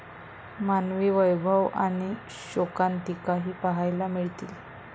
मानवी वैभव आणि शोकांतिकाही पाहायला मिळतील.